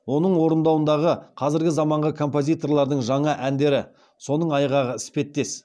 оның орындауындағы қазіргі заманғы композиторлардың жаңа әндері соның айғағы іспеттес